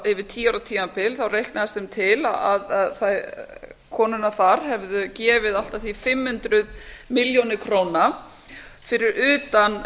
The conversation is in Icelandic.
yfir tíu ára tímabil reiknaðist þeim til að konurnar þar hefðu gefið allt að því fimm hundruð milljóna króna fyrir utan